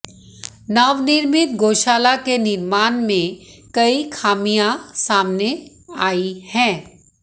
नवनिर्मित गोशाला के निर्माण में कई खामियां सामने आई हैं